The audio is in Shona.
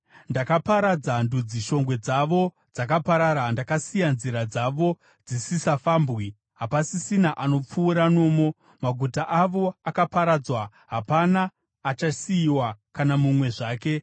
“Ndakaparadza ndudzi; shongwe dzavo dzakaparara. Ndakasiya nzira dzavo dzisisafambwi, hapasisina anopfuura nomo. Maguta avo akaparadzwa; hapana achasiyiwa, kana mumwe zvake.